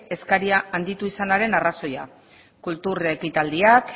eskaria handitu izanaren arrazoia kultur ekitaldiak